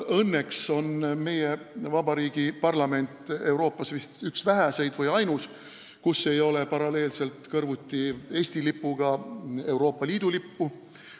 Õnneks on meie vabariigi parlament Euroopas üks väheseid või ainus, kus ei ole Eesti lipuga kõrvuti Euroopa Liidu lippu.